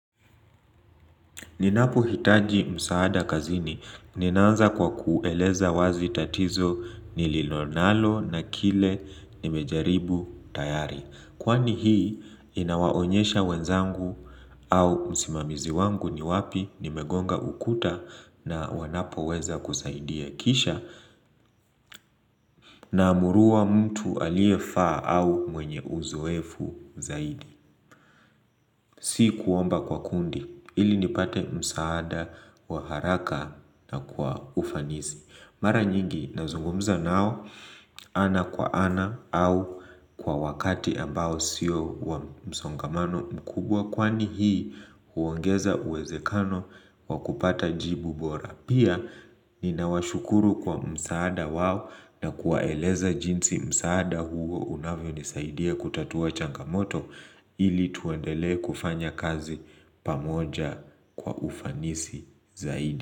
Ninapohitaji msaada kazini, ninaanza kwa kueleza wazi tatizo nililonalo na kile nimejaribu tayari. Kwani hii inawaonyesha wenzangu au msimamizi wangu ni wapi nimegonga ukuta na wanapo weza kusaidia kisha na amulua mtu aliyefaa au mwenye uzoefu zaidi. Si kuomba kwa kundi ili nipate msaada wa haraka na kwa ufanisi Mara nyingi nazungumza nao ana kwa ana au kwa wakati ambao siyo wa msongamano mkubwa Kwani hii huongeza uwezekano wa kupata jibu bora Pia ni nawashukuru kwa msaada wao na kuwaeleza jinsi msaada huo unavyo nisaidia kutatua changamoto ili tuendelee kufanya kazi pamoja kwa ufanisi zaidi.